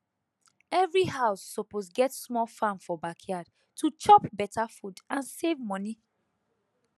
every house suppose get small farm for backyard to chop better food and save money